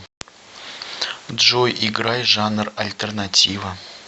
джой играй жанр альтернатива